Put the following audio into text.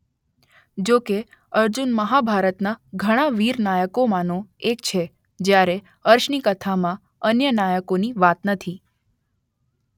જોકે અર્જુન મહાભારતના ઘણાં વીર નાયકોમાંનો એક છે જ્યારે અર્શની કથામાં અન્ય નાયકોની વાત નથી.